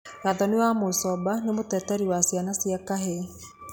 Gathoni wa Mucomba nĩ mũteteri wa ciana cia kahĩĩ.